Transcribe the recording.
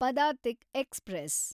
Padatik express